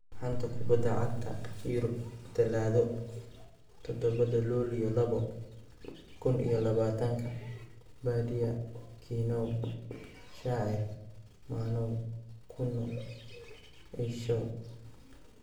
Xanta Kubadda Cagta Yurub Talaado Todobadaa lulyo labo kuun iyo labatanka : Badia, Kinow ,Shacir, manow, kuno, Eishow